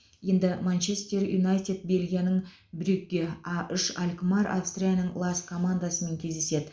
енді манчестер юнайтед бельгияның брюгге а үш алкмар австрияның ласк командасымен кездеседі